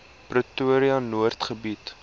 pretoria noord gebied